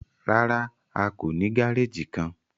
Rárá, a kò ní gàrèjì kán.